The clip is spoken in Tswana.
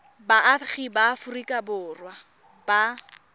baagi ba aforika borwa ba